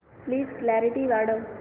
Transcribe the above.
please clarity वाढव